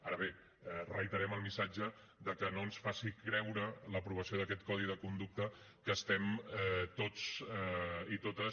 ara bé reiterem el missatge que no ens faci creure l’aprovació d’aquest codi de conducta que estem tots i totes